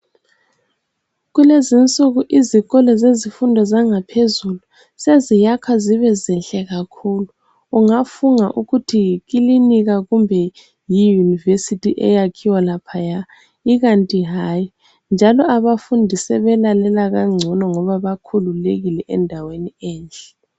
Kulezinsuku izikolo zezifundo zangaphezulu seziyakha zibe zinhle kakhulu ungafunga ukuthi yikilinika kumbe yiyunivesithi eyakhiwa laphaya ikanti hayi njalo abafundi sebelalela kangcono ngoba bakhululekile endaweni enhle.